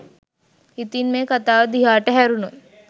ඉතින් මේ කතාව දිහාට හැරුනොත්